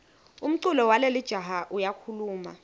umculo walelijaha uyakhuluma